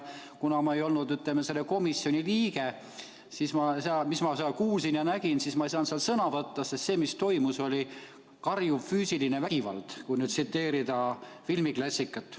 Kuna ma ei ole selle komisjoni liige, siis selle kohta, mida ma seal kuulsin ja nägin, ei saanud ma sõna võtta, aga see, mis toimus, oli karjuv füüsiline vägivald, kui tsiteerida filmiklassikat.